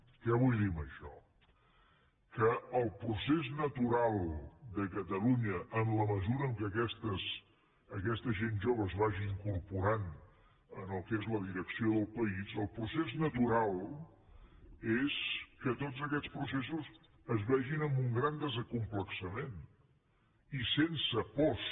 què vull dir amb això que el procés natural de catalunya en la mesura en què aquesta gent jove es vagi incorporant en el que és la direcció del país el procés natural és que tots aquests processos es vegin amb un gran desacomplexament i sense pors